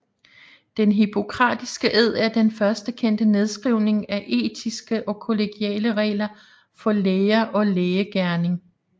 Den hippokratiske ed er den første kendte nedskrivning af etiske og kollegiale regler for læger og lægegerning